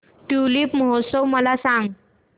tulip महोत्सव मला सांग